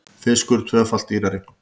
Fiskur tvöfalt dýrari